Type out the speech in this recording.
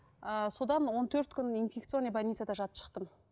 ыыы содан он төрт күн инфекционный больницада жатып шықтым